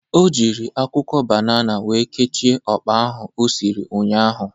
O jịrị akwụkwọ banana wee kechie ọkpa ahụ o siri ụnyaahụ.